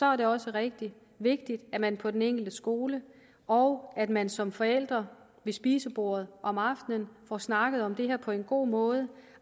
er det også rigtig vigtigt at man på den enkelte skole og at man som forældre ved spisebordet om aftenen får snakket om det her på en god måde